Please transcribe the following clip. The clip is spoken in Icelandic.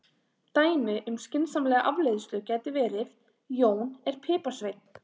Dæmi um skynsamlega afleiðslu gæti verið: Jón er piparsveinn.